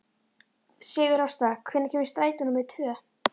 Sigurásta, hvenær kemur strætó númer tvö?